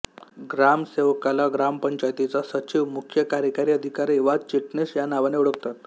ग्रामसेवकाला ग्रामपंचायतीचा सचिव मुख्य कार्यकारी अधिकारी वा चिटणीस या नावाने ओळखतात